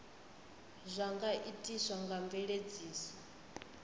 zwa nga itiswa nga mveledziso